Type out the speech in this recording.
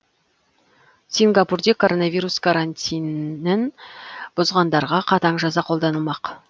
сингапурде коронавирус карантинін бұзғандарға қатаң жаза қолданылмақ